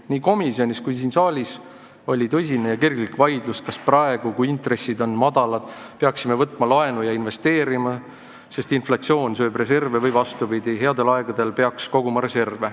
Nii komisjonis kui siin saalis oli tõsine ja kirglik vaidlus, kas me praegu, kui intressid on madalad, peaksime võtma laenu ja investeerima, sest inflatsioon sööb reserve, või peaksime, vastupidi, headel aegadel reserve koguma.